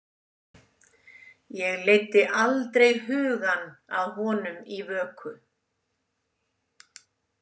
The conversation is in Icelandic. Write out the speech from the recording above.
Ég leiddi aldrei hugann að honum í vöku.